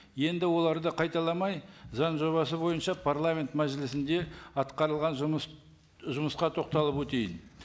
енді оларды қайталамай заң жобасы бойынша парламент мәжілісінде атқарылған жұмыс жұмысқа тоқталып өтейін